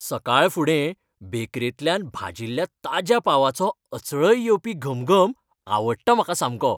सकाळफुडें बेकरेंतल्यान भाजिल्ल्या ताज्या पावाचो अचळय येवपी घमघम आवडटा म्हाका सामको.